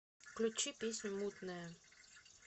включи песню мутная